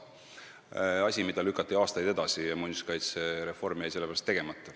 See on asi, mida lükati aastaid edasi ja muinsuskaitsereform jäi sellepärast tegemata.